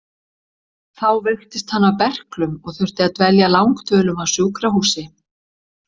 Þá veiktist hann af berklum og þurfti að dvelja langdvölum á sjúkrahúsi.